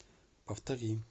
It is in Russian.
повтори